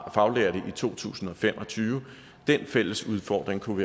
faglærte i to tusind og fem og tyve den fælles udfordring kunne